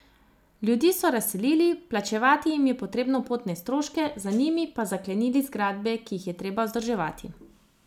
Ljudi so razselili, plačevati jim je treba potne stroške, za njimi pa zaklenili zgradbe, ki jih je treba vzdrževati.